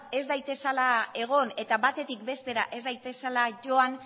ez daitezala egon eta batetik bestera ez daitezela joan